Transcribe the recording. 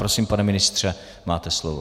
Prosím, pane ministře, máte slovo.